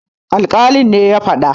alkalin ne ya fada?